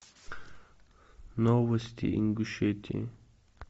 новости ингушетии